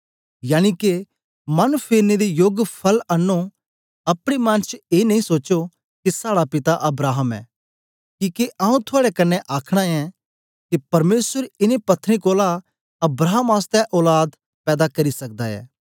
यनिके मन फेरने दे योग फल आनों अपने मन च ए नेई सोचो के साड़ा पिता अब्राहम ऐ किके आऊँ थआड़े कन्ने आखना ऐं के परमेसर इनें पत्त्थरें कोलां अब्राहम आसतै औलाद पैदा करी सकदा ऐ